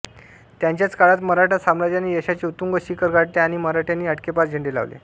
त्यांच्याच काळात मराठा साम्राज्याने यशाचे उत्तुंग शिखर गाठले आणि मराठ्यांनी अटकेपार झेंडे लावले